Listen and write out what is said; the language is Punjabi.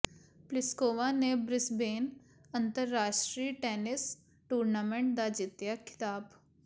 ਪਲਿਸਕੋਵਾ ਨੇ ਬ੍ਰਿਸਬੇਨ ਅੰਤਰਰਾਸ਼ਟਰੀ ਟੈਨਿਸ ਟੂਰਨਾਮੈਂਟ ਦਾ ਜਿੱਤਿਆ ਖਿਤਾਬ